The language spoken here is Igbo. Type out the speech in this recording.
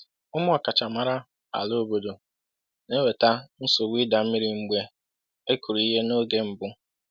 “Ụmụ ọkachamara ala obodo na-eweta nsogbu ịda mmiri mgbe e kụrụ ihe n’oge mbụ.”